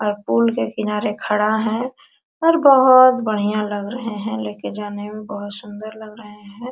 और पुल के किनारे खड़ा हैं और बहुत बढ़िया लग रहे हैं लेके जाने में बहुत सुंदर लग रहे हैं।